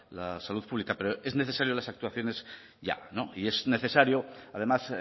la salud pública pero son necesarias las actuaciones ya y es necesaria además